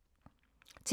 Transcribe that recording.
TV 2